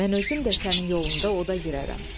Mən özüm də sənin yolunda oda girərəm.